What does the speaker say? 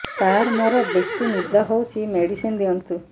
ସାର ମୋରୋ ବେସି ନିଦ ହଉଚି ମେଡିସିନ ଦିଅନ୍ତୁ